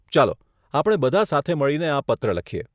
ચાલો આપણે બધા સાથે મળીને આ પત્ર લખીએ.